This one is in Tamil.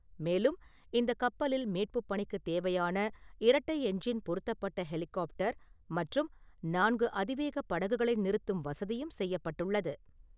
மேலும், இந்தக் கப்பலில் மீட்புப் பணிக்குத் தேவையான இரட்டை என்ஜின் பொருத்தப்பட்ட ஹெலிகாப்டர் மற்றும் நான்கு அதிவேகப் படகுகளை நிறுத்தும் வசதியும் செய்யப்பட்டுள்ளது.